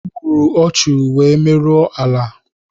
Ogburu ọchu wee merụọ ala